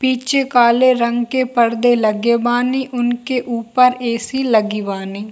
पीछे काले रंग के परदे लगे बानी उनके ऊपर ऐ.सी. लगी बानी।